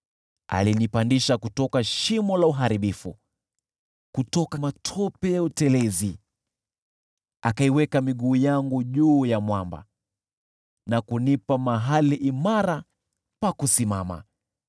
Akanipandisha kutoka shimo la uharibifu, kutoka matope na utelezi; akaiweka miguu yangu juu ya mwamba na kunipa mahali imara pa kusimama.